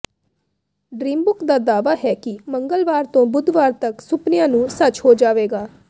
dreambook ਦਾ ਦਾਅਵਾ ਹੈ ਕਿ ਮੰਗਲਵਾਰ ਤੋਂ ਬੁੱਧਵਾਰ ਤੱਕ ਸੁਪਨਿਆਂ ਨੂੰ ਸੱਚ ਹੋ ਜਾਵੇਗਾ